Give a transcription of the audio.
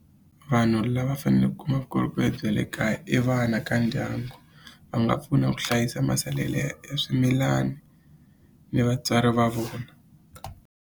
Vanhu lava fanele kuma vukorhokeri bya le kaya i vana ka ndyangu va nga pfuna ku hlayisa masalela ya swimilani ni vatswari va vona.